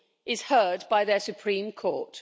is heard by the Supreme Court.